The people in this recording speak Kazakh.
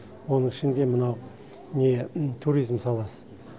оның ішінде мынау не туризм саласы